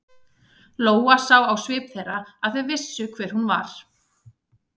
Lóa sá á svip þeirra að þau vissu hver hún var.